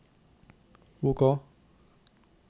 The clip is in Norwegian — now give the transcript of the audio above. OK